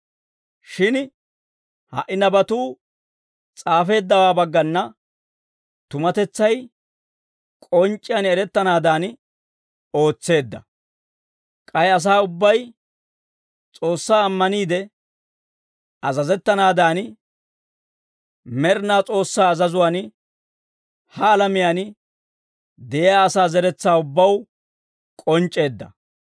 Shin ha"i nabatuu s'aafeeddawaa baggana tumatetsay k'onc'c'iyaan erettanaadan ootseedda; k'ay asaa ubbay S'oossaa ammaniide azazettanaadan, Med'inaa S'oossaa azazuwaan, ha alamiyaan de'iyaa asaa zeretsaa ubbaw k'onc'c'eedda.